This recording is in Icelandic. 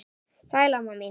Sæl, amma mín.